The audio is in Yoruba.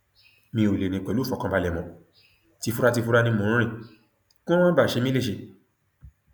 mi ò lè rìn pẹlú ìfọkànbalẹ mọ tìfuratìfura ni mò ń rìn kí wọn má bàa ṣe mí léṣe